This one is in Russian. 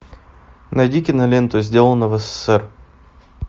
найди киноленту сделано в ссср